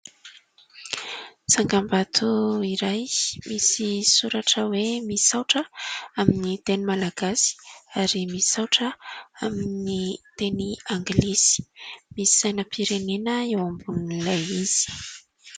Tsangam-bato iray misy soratra hoe misaotra amin'ny teny malagasy ary misaotra amin'ny teny angilisy. Misy sainam-pirenena eo ambonin'ny ilay izy.